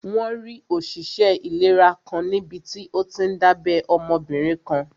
Wọ́n rí òṣìṣẹ́ ìlera kan níbití ó tíí n dábẹ́ ọmọbìnrin kan